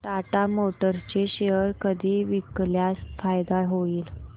Tata Motors चे share कधी विकल्यास फायदा होईल